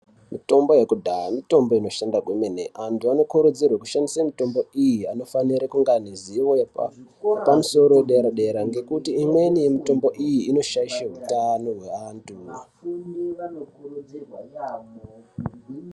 Mitombo yekudhaya mitombo inoshanda kwemene antu anokurudzirwe kushandise mitombo iyi anofanire kunge aine ziwo yepa yepamusoro yedera dera ngekuti imweni yemitombo iyi inoshaidhe utano hweantu.